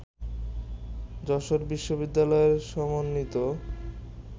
যশোর বিশ্ববিদ্যালয়ের সমন্বিত